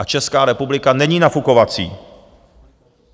A Česká republika není nafukovací.